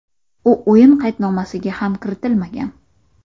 U o‘yin qaydnomasiga ham kiritilmagan.